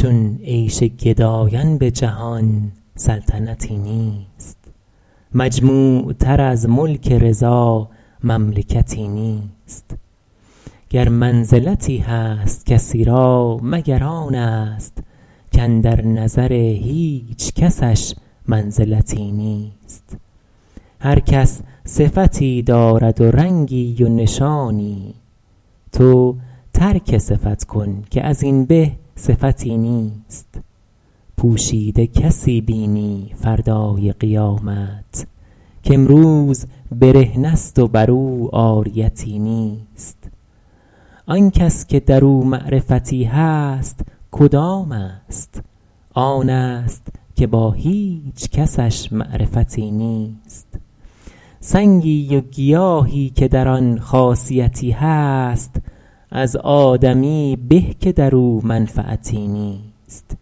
چون عیش گدایان به جهان سلطنتی نیست مجموع تر از ملک رضا مملکتی نیست گر منزلتی هست کسی را مگر آن است کاندر نظر هیچ کسش منزلتی نیست هر کس صفتی دارد و رنگی و نشانی تو ترک صفت کن که از این به صفتی نیست پوشیده کسی بینی فردای قیامت کامروز برهنه ست و بر او عاریتی نیست آن کس که در او معرفتی هست کدام است آن است که با هیچ کسش معرفتی نیست سنگی و گیاهی که در آن خاصیتی هست از آدمیی به که در او منفعتی نیست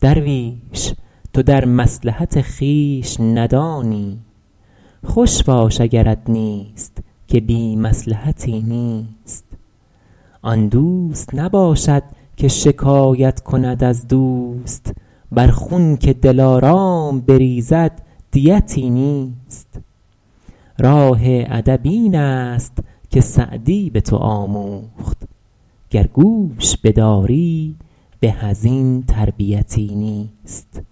درویش تو در مصلحت خویش ندانی خوش باش اگرت نیست که بی مصلحتی نیست آن دوست نباشد که شکایت کند از دوست بر خون که دلارام بریزد دیتی نیست راه ادب این است که سعدی به تو آموخت گر گوش بداری به از این تربیتی نیست